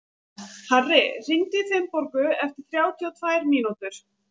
Harri, hringdu í Finnborgu eftir þrjátíu og tvær mínútur.